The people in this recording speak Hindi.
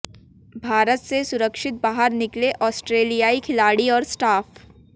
भारत से सुरक्षित बाहर निकले ऑस्ट्रेलियाई खिलाड़ी और स्टाफ